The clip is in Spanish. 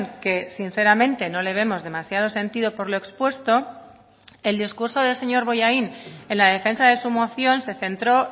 que sinceramente no le vemos demasiado sentido por lo expuesto el discurso del señor bollain en la defensa de su moción se centró